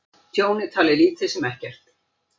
Tjón er talið lítið sem ekkert